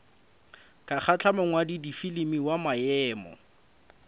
ka kgahla mongwaladifilimi wa maemo